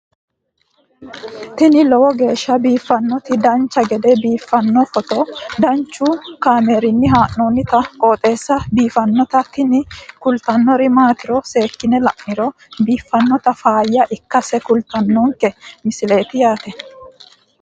tini lowo geeshsha biiffannoti dancha gede biiffanno footo danchu kaameerinni haa'noonniti qooxeessa biiffannoti tini kultannori maatiro seekkine la'niro biiffannota faayya ikkase kultannoke misileeti yaate